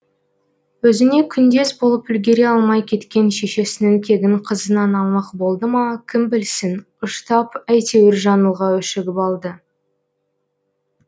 өзіне күндес болып үлгере алмай кеткен шешесінің кегін қызынан алмақ болды ма кім білсін ұштап әйтеуір жаңылға өшігіп алды